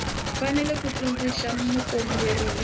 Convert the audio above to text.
fanele ku tsundzuxa mukomberi hi